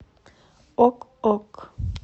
ок ок